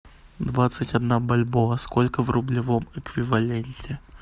двадцать одна бальбоа сколько в рублевом эквиваленте